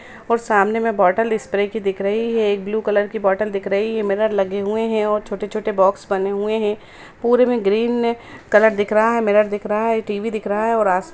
--और सामने में बॉटल स्प्रे कि दिख रही हैं एक ब्लू कलर कि बॉटल दिख रही हैं मिरर लगे हुए हैं और छोटे-छोटे बॉक्स बने हुए हैं पूरे में ग्रीन कलर दिख रहा हैं मिरर दिख रहा हैं टीवी दिख रहा हैं।